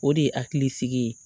O de ye hakilisigi ye